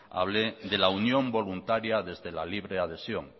hablé de la unión voluntaria desde la libre adhesión